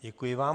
Děkuji vám.